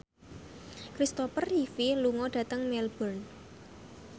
Christopher Reeve lunga dhateng Melbourne